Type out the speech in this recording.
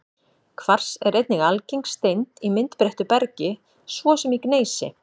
Kvars er einnig algeng steind í myndbreyttu bergi, svo sem í gneisi.